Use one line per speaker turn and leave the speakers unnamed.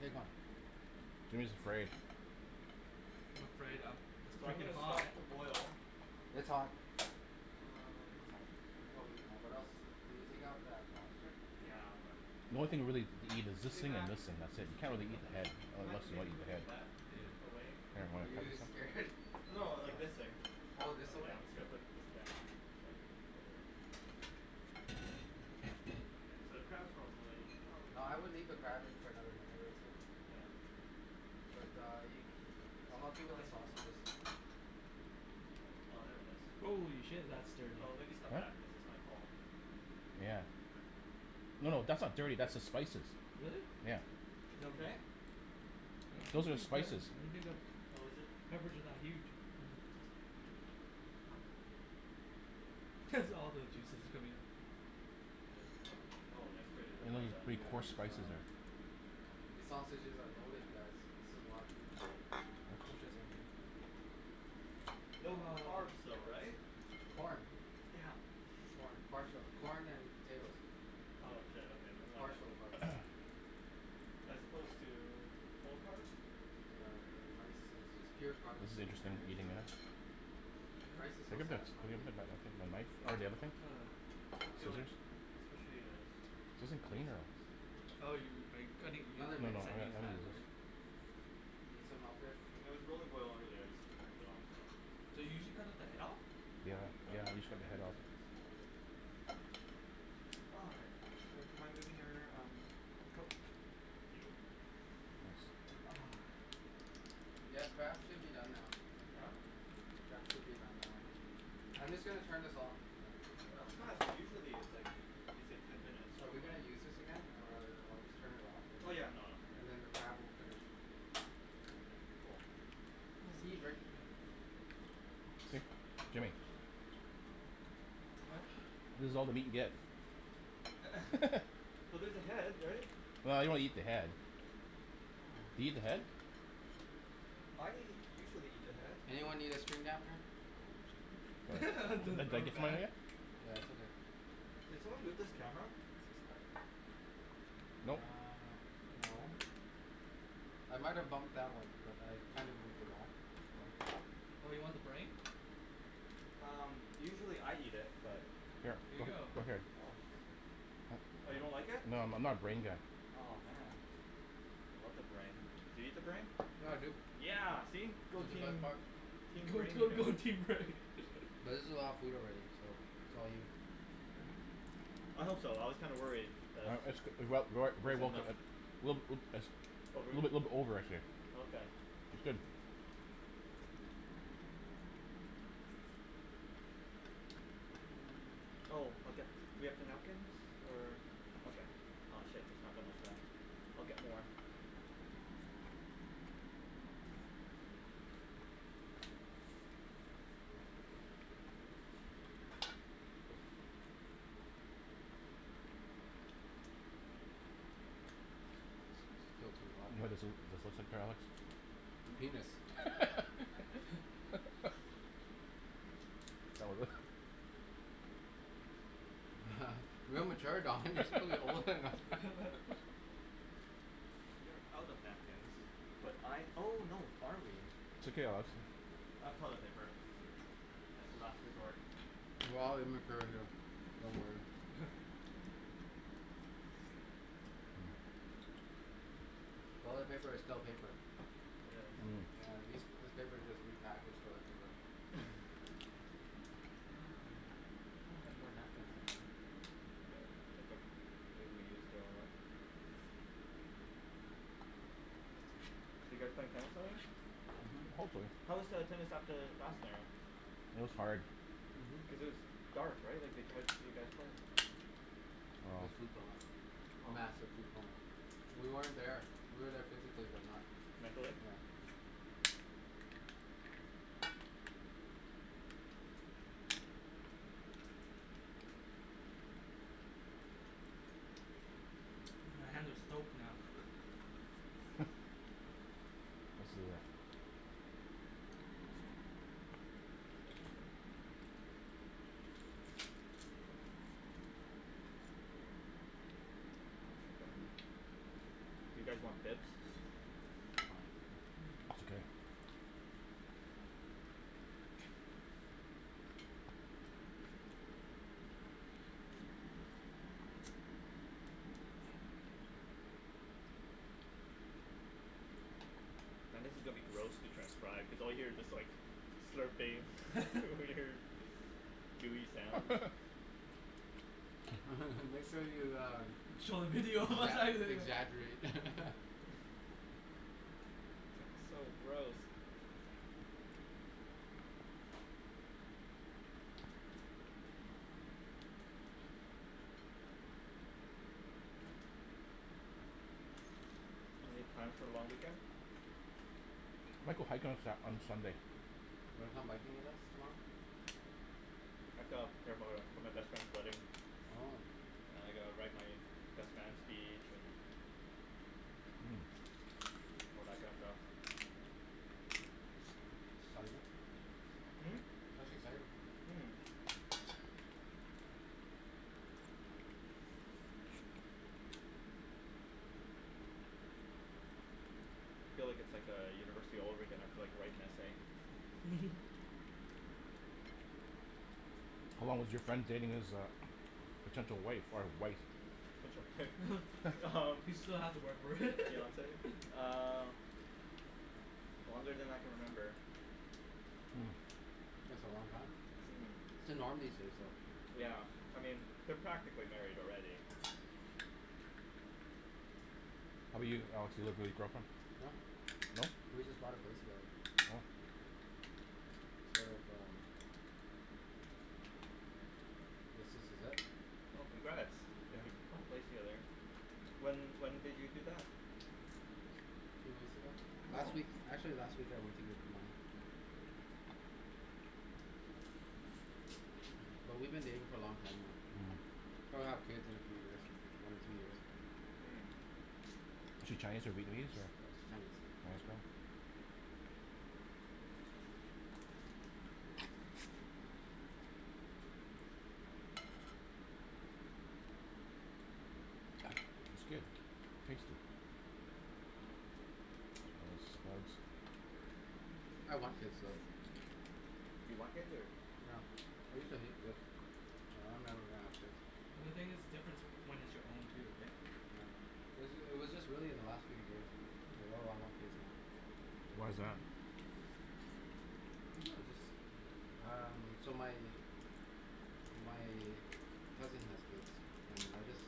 Take one.
Jimmy's afraid.
I'm afraid um, it's
So I'm
freaking
gonna stop
hot.
the boil.
It's hot. It's hot.
Um. Can probably
Uh, what else. Can we take out that lobster?
Yeah, I'm
The
gonna
only thing to really eat is this thing and this thing. That's it. You can't
Mhm.
really eat the head, well, unless you want to eat the head.
Yeah.
Are you scared?
No, like, this thing.
All of this away?
Yeah, I'm just gonna put this down so I don't have to So, the crab is probably,
No,
oh
I would leave the crab in for another minute or two.
Yeah.
But uh you, I'll help you with the sausages.
Oh, there it is.
Holy shit. That's dirty.
Oh, maybe step
What?
back because this might fall.
Yeah. No, no, that's not dirty, that's the spices.
Really?
Yeah
Is it okay?
I
Those
don't
are the
think that,
spices.
I don' think that,
Oh, is it?
peppers are that huge. That's all the juices coming out.
Oh, this.
eat pretty
Yeah,
coarse
these
spices
uh
here.
These sausages are loaded guys. This is a lot of food.
No
Ah
carbs though, right?
Corn.
Damn.
Corn, parts of corn and potatoes.
Oh shit okay never mind then.
Partial carbs.
As opposed to, full carbs?
Yeah uh rice is just pure carbs
This is interesting,
and
eating
sugar.
this.
Rice is so
Look at this
satisfying to eat
take
though.
a knife, or the other thing,
Yeah,
Um.
I feel like,
scissors.
especially as
This isn't clean enough. No
Oh
no,
you, are you cutting, you
Another
I'm gonna,
you
minute,
said
I'm
use
another
gonna
that
do this.
minute.
right?
You need some help there?
It was really boiling over there so I just turned it off so
Do you usually cut off the head off?
Yeah,
okay,
yeah, we
let's
usually cut
focus
the head
on
off.
Okay.
the Wow. Hey, do you mind moving your um, coke, thank you Ah.
Yeah, the crab should be done now.
Yeah?
The crab should be done now. I'm just going to turn this off.
That was fast, cuz usually it's like it's like ten minutes.
Are we going to use this again? Or I'll just turn it off,
Oh
and,
yeah nah.
and then the crab will finish.
Okay, cool.
Holy
See Rick
shit.
Jimmy. This is all the meat he gets.
Well there's the head right?
Well I don't eat the head. Do you eat the head?
I usually eat the head.
Anyone need extra napkin?
Yeah it's okay.
Did someone move this camera?
Nope.
Uh
No.
no. I might have bumped that one but I kind of moved it back.
Oh you want the brain?
Um usually I eat it but
Here.
Here you go!
Come here.
Oh. Oh you don't like it?
No I'm not brain guy.
Aw man. I love the brain. Do you eat the brain?
Yeah dude.
Yeah! See? Go
It's the best
team.
part.
Team
Go
brain here.
team go team brain.
But this is a lot of food already, so it's all you.
I hope so, I was kinda worried that
a
it wasn't enough.
little bit a little over I'd say.
Okay.
It's good.
Oh okay. Do we have the napkins? Or. Okay. Aw shit, there's not that much left. I'll get more.
S- still too hot.
What is, this looks like
A penis? Real mature Don, you're supposed to be older than that
So we are out of napkins, but I oh no, are we
It's okay I'll have some.
I have toilet paper as the last resort.
We're all immature here, don't worry.
It's very Asian.
Toilet paper is still paper.
I guess.
Mm.
Yeah, these, this paper is just repackaged toilet paper.
Oh, I thought I had more napkins somewhere. Well. Hiccup. Maybe we used it a lot. So you guys playing tennis later?
Mhm.
Hopefully.
How was the tennis at the
It was hard.
Mhm.
Cuz it was dark right, like how did you guys play?
Just food coma. Massive food coma. We weren't there. We were there physically, but not
Mentally?
Yeah.
My hands are stoked now.
Do you guys want bibs?
It's fine.
It's okay.
Now this is gonna be gross to transcribe, cuz all you hear is just like, slurping weird gooey sounds.
Make sure you uh
Show the video
exa- exaggerate
So gross. Any plans for the long weekend?
Might go hiking on Sa- on Sunday.
Wanna come hiking with us tomorrow?
I have to prepare for for my best friend's wedding.
Oh.
And I gotta write my best man's speech and
Mm.
all that kind of stuff.
Exciting.
Mm? Mhm.
That's exciting.
Feel like it's like a university all over again, you have to like write an essay.
How long was your friend dating this uh potential wife or wife?
Potential wife
He still has to work for it
Fiance, uh, longer than I can remember.
Hm, that's a long time. That's the norm these days though.
Yeah, I mean, they're practically married already.
How 'bout you Alex, you live with your girlfriend?
No,
No?
but we just bought a place together.
Oh.
Sort of um, I guess this is it.
Well congrats,
Yeah.
if you bought a place together. When when did you do that?
Two weeks ago. Last week,
Oh!
actually, last week I went to give the money. But we've been dating for a long time
Mm.
now. Probably gonna have kids in a few years. One or two years.
Mm.
Is she Chinese or Vietnamese?
She's Chinese.
Nice girl It's good. Tasty.
I want kids though.
You want kids or?
No. I used to hate kids.
Mm.
I never gonna have kids.
Well the thing is, difference whe- when it's your own too right.
Yeah. It was just it was just really in the last few years like oh I want kids now.
Why's that?
Maybe I'm just, um, so my my cousin has kids, and I just,